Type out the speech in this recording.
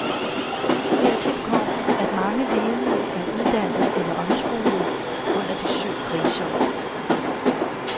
Hertil kommer, at mange ledige er uddannet eller omskolet under de syv kriseår.